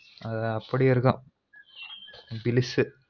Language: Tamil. அது அப்டி இருக்கும் delicious